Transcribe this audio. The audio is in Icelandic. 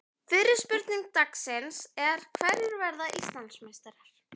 Fyrri spurning dagsins er: Hverjir verða Íslandsmeistarar?